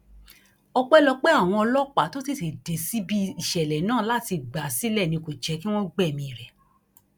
ọpẹlọpẹ àwọn ọlọpàá tó tètè dé síbi ìṣẹlẹ náà láti gbà á sílẹ ni kò jẹ kí wọn gbẹmí rẹ